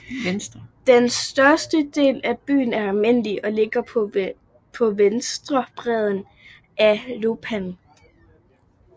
Den største del af byen er almindelig og ligger på venstre bred af Lopan